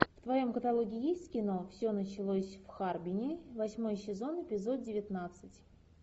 в твоем каталоге есть кино все началось в харбине восьмой сезон эпизод девятнадцать